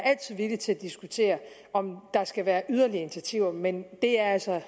villig til at diskutere om der skal være yderligere initiativer men det er altså